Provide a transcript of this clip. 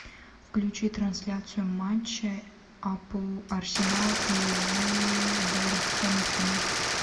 включи трансляцию матча апл арсенал и вулверхэмптон